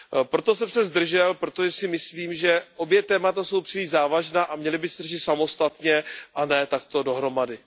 Proto jsem se zdržel, protože si myslím, že obě témata jsou příliš závažná a měla by se řešit samostatně a ne takto dohromady.